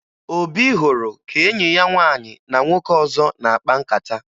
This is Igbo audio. Obi hụrụ ka enyi ya nwaanyị na nwoke ọzọ na-akpa nkata